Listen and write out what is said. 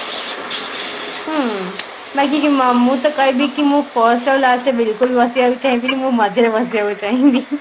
ହୁଁ ବାକି ମୁଁ ତ କହିବି କି ମୁଁ first ଆଉ last ରେ ବିଲକୁଲ ବସିବାକୁ ଚାହିଁ ବିନି ମୁଁ ମଝିରେ ବସିବାକୁ ଚାହିଁବି